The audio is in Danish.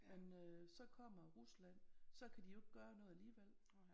Men øh så kommer Rusland så kan de jo ikke gøre noget alligevel